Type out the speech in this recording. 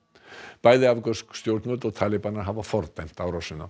bæði afgönsk stjórnvöld og talibanar hafa fordæmt árásina